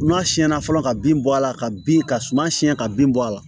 N'a siyɛnna fɔlɔ ka bin bɔ a la ka bin ka suma siɲɛ ka bin bɔ a la